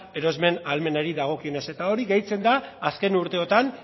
erosmen ahalmenari dagokionez eta hori gehitzen da azken urteotan